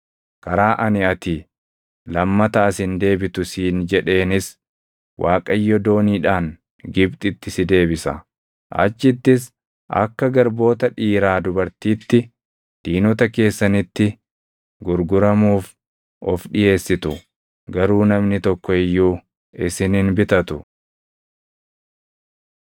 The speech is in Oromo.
Karaa ani ati lammata as hin deebitu siin jedheenis Waaqayyo dooniidhaan Gibxitti si deebisa. Achittis akka garboota dhiiraa dubartiitti diinota keessanitti gurguramuuf of dhiʼeessitu; garuu namni tokko iyyuu isin hin bitatu.